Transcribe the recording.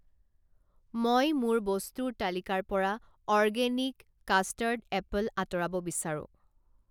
মই মোৰ বস্তুৰ তালিকাৰ পৰা অৰ্গেনিক কাষ্টাৰ্ড এপল আঁতৰাব বিচাৰোঁ।